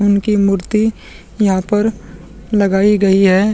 उनकी मूर्ति यहाँ पर लगाई गई है |